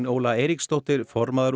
Óla Eiríksdóttir formaður